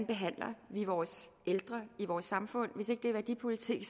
behandler vore ældre i vores samfund hvis ikke det er værdipolitik